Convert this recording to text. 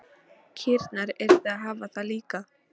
Kýrnar yrðu að hafa það líka.